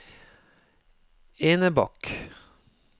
Enebakk